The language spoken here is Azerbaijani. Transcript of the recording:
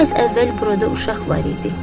Biraz əvvəl burada uşaq var idi.